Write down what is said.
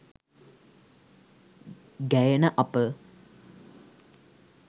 ගැයෙන අප